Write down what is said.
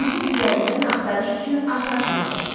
Youtube üzərindən axtarış üçün açar sözlər: